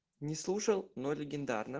не слушал но легендарно